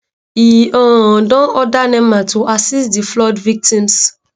e um don order nema to assist di flood victims